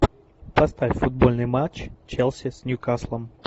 поставь футбольный матч челси с ньюкаслом